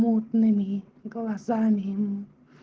мутными глазами